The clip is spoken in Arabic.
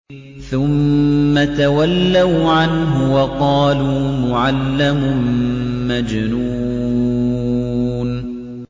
ثُمَّ تَوَلَّوْا عَنْهُ وَقَالُوا مُعَلَّمٌ مَّجْنُونٌ